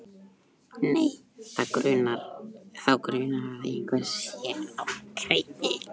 Nei, þá grunar að eitthvað sé á kreiki.